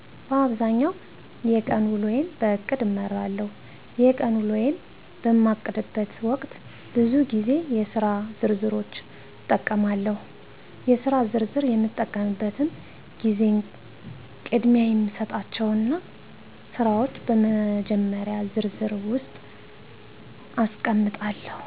በአብዛኛው የቀን ውሎየን በእቅድ እመራለሁ። የቀን ውሎየን በማቅድበት ወቅት ብዙ ግዜ የስራ ዝርዝሮችን እጠቀማለሁ። የስራ ዝርዝር በምጠቀምበትም ግዜ ቅድሚያ የሚሰጣቸውን ስራወች በመጀመሪዎቹ ዝርዝር ውስጥ አስቀምጣለሁ።